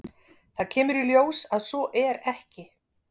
Það kemur í ljós að svo er ekki.